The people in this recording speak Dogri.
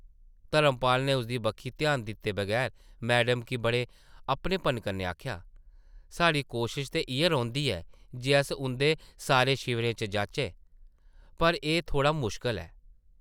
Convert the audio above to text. धर्मपाल नै उसदी बक्खी ध्यान दित्ते बगैर मैडम गी बड़े अपनेपनै कन्नै आखेआ, साढ़ी कोशश ते इ’यै रौंह्दी ऐ जे अस उंʼदे सारे शिवरें च जाचै, पर एह् थोह्ड़ा मुश्कल ऐ ।